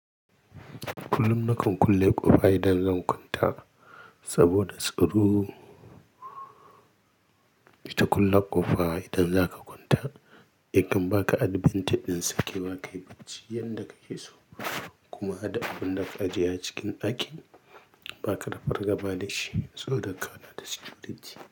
Kullum nakan kulle ƙofa idan zan kwanta saboda tsaro. Ita kulle ƙofa idan zaka kwanta, in kam ba ka adbent ɗin sake ba, ka yi bacci yanda ka yi so kuma ada abunda aka ajiye a cikin ɗakin ba ka da fargaba da shi saboda ka na da sikuriti.